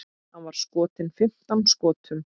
Hann var skotinn fimmtán skotum.